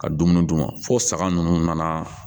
Ka dumuni d'u ma fo saga ninnu nana